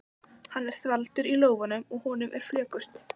Hann er þvalur í lófunum og honum er flökurt.